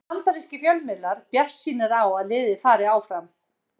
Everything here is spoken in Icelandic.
Eru bandarískir fjölmiðlar bjartsýnir á að liðið fari áfram?